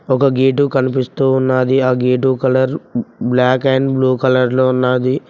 ఒక గేటు కనిపిస్తూ ఉన్నాది ఆ gate colour black and blue కలర్లో ఉన్నాది.